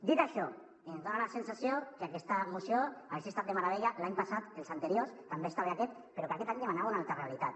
dit això ens dona la sensació que aquesta moció hagués estat de meravella l’any passat els anteriors també està bé aquest però que aquest any demanava una altra realitat